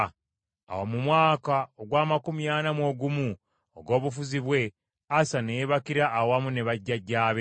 Awo mu mwaka ogw’amakumi ana mu ogumu ogw’obufuzi bwe, Asa ne yeebakira awamu ne bajjajjaabe.